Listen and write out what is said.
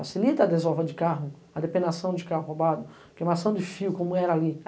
Facilita a desova de carro, a depenação de carro roubado, queimação de fio, como era ali.